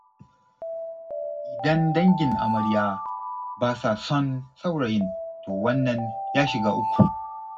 Idan dangin amarya ba sa son saurayin, to wannan ya shiga uku.